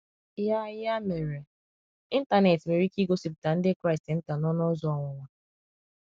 Ya Ya mere, Ịntanet nwere ike igosipụta ndị Kraịst nta n’ọnụ ụzọ ọnwụnwa.